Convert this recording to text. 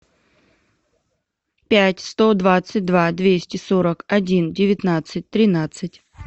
пять сто двадцать два двести сорок один девятнадцать тринадцать